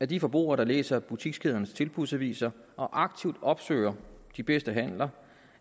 de forbrugere der læser butikskædernes tilbudsaviser og aktivt opsøger de bedste handler